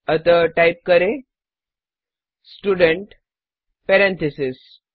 अतः टाइप करें student parentheses